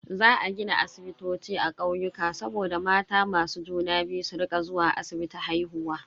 Za a gina asibitoci a kauyuka saboda mata masu juna biyu su rika zuwa asibiti haihuwa.